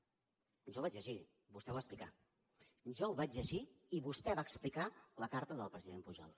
jo ho vaig llegir vostè ho va explicar jo ho vaig llegir i vostè va explicar la carta del president pujol